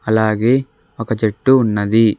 అలాగే ఒక చెట్టు ఉన్నది.